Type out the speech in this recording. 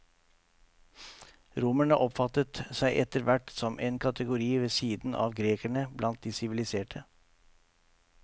Romerne oppfattet seg etter hvert som en kategori ved siden av grekerne blant de siviliserte.